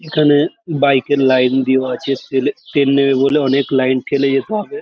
এখানে বাইক -এর লাইন দেওয়া আছে। তেলে তেল নেবে বলে অনেক লাইন ঠেলে যেতে হবে।